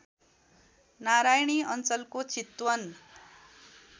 नारायणी अञ्चलको चितवन